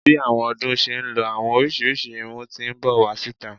Bi àwọn ọdún ṣe ń lọ, àwọn oríṣiríṣi irún ti n bọ wá síta.